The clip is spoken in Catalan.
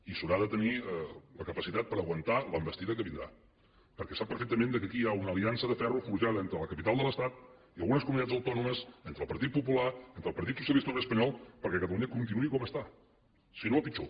i s’haurà de tenir la capacitat per aguantar l’envestida que vindrà perquè sap perfectament que aquí hi ha una aliança de ferro forjada entre la capital de l’estat i algunes comunitats autònomes entre el partit popular entre el partit socialista obrer espanyol perquè catalunya continuï com està si no a pitjor